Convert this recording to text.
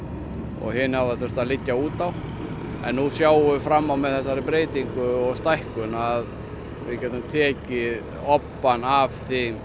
og hin hafa þurft að liggja út á en nú sjáum við fram á að með þessari breytingu og stækkun að við getum tekið obbann af